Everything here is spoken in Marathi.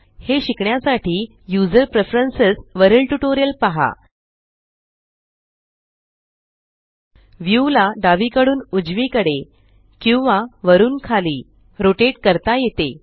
हे शिकण्यासाठी यूझर प्रेफरन्स वरील ट्यूटोरियल पहाltpgt व्यू ला डावीकडून उजवीकडे किंवा वरुन खाली रोटेट करता येते